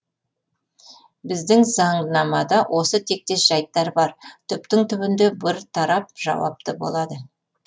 біздің заңнамада осы тектес жайттар бар түптің түбінде бір тарап жауапты болады